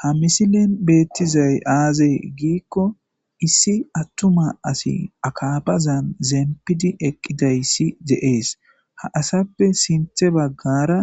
ha misilen beettizay aazee giikko issi attuma asi akabazan zempidi eqqiday si deees ha asappe sinthe baggara